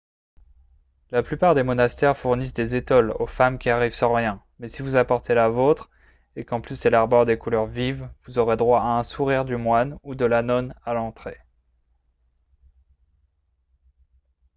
la plupart des monastères fournissent des étoles aux femmes qui arrivent sans rien mais si vous apportez la vôtre et qu'en plus elle arbore des couleurs vives vous aurez droit à un sourire du moine ou de la nonne à l'entrée